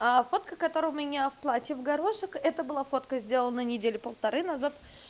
а фотка которая у меня в платье в горошек это была фотка сделана недели полторы назад